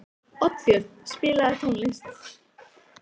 Oddbjörn, spilaðu tónlist.